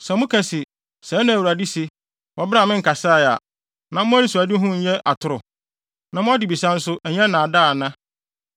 Sɛ moka se, ‘Sɛɛ na Awurade se,’ wɔ bere a menkasae a, na mo anisoadehu nyɛ atoro? Na mo adebisa nso, ɛnyɛ nnaadaa ana?